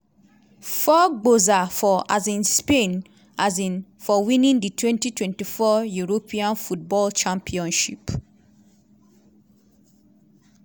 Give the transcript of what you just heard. four gbosa for um spain um for winning di twenty twenty four european football championship.